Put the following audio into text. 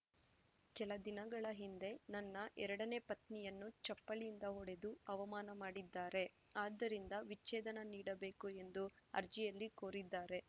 ಕೆಲ ದಿನಗಳ ಹಿಂದೆ ನನ್ನ ಎರಡನೇ ಪತ್ನಿಯನ್ನು ಚಪ್ಪಲಿಯಿಂದ ಹೊಡೆದು ಅವಮಾನ ಮಾಡಿದ್ದಾರೆ ಆದ್ದರಿಂದ ವಿಚ್ಛೇದನ ನೀಡಬೇಕು ಎಂದು ಅರ್ಜಿಯಲ್ಲಿ ಕೋರಿದ್ದಾರೆ